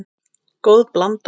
Góð blanda.